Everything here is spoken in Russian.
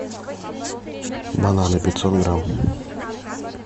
бананы пятьсот грамм